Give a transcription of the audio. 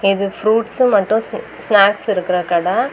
இது ஃப்ரூட்ஸ் மட்டு ஸ்னாக்ஸ் இருக்கிற கட.